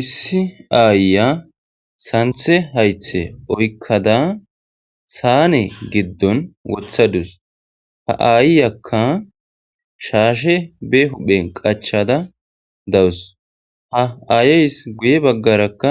Issi ayiya santhe haythe oykada saane gidon wothadus.ha aayiyaka shashe be huphen qachada daws.ha aayes guye baggaraka